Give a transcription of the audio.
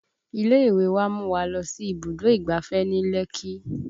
Ilé ìwé wa mú wa lọ sí ibùdó ìgbáfẹ́ ní Lekki